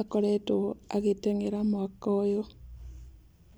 akoretwo agĩteng'era mwaka ũyũ.